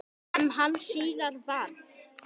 Sem hann síðar varð.